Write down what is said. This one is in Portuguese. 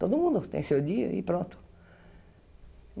Todo mundo tem seu dia e pronto.